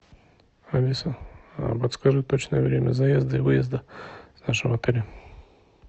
алиса подскажи точное время заезда и выезда с нашего отеля